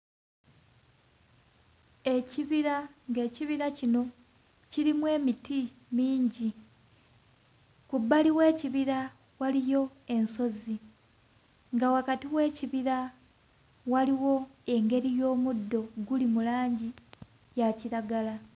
Ekibira ng'ekibira kino kirimu emiti mingi. Ku bbali w'ekibira waliyo ensozi nga wakati w'ekibira waliwo engeri y'omuddo guli mu langi ya kiragala.